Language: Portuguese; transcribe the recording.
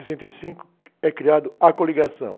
Sessenta e cinco é criado a coligação.